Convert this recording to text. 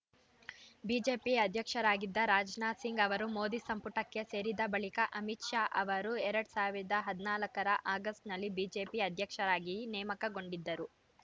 BJP ಅಧ್ಯಕ್ಷರಾಗಿದ್ದ ರಾಜನಾಥ ಸಿಂಗ್‌ ಅವರು ಮೋದಿ ಸಂಪುಟಕ್ಕೆ ಸೇರಿದ ಬಳಿಕ ಅಮಿತ್‌ ಶಾ ಅವರು ಎರಡ್ ಸಾವಿರದ ಹದಿನಾಲ್ಕ ರ ಆಗಸ್ಟ್‌ನಲ್ಲಿ ಬಿಜೆಪಿ ಅಧ್ಯಕ್ಷರಾಗಿ ನೇಮಕಗೊಂಡಿದ್ದರು